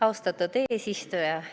Austatud eesistuja!